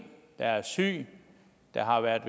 der er syg der har været